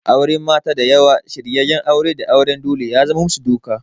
Auren mata da yawa, shiryenyen aure da auren dole ya zamar musu doka.